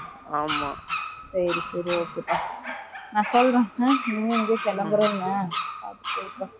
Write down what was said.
ஆமா. சரி, சரி, okay ப்பா, நான் சொல்றேன். ம், நீ எங்கயோ கிளம்புறேன்னு. அ, சரிப்பா. வைக்கறேன்